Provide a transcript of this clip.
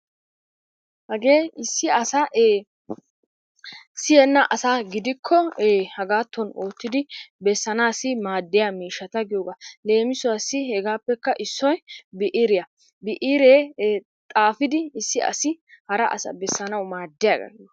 Hagee issi asaa siyyenna asaa gidikko haggatton oottidi beessana maaddiyaa miishshata giyoogaa. leemisuwassi hegappekka issoy bi'iriya, bi'iree xaafidi hara asa besanaw maaddiyaaga giyoogaa.